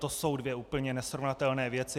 To jsou dvě úplně nesrovnatelné věci.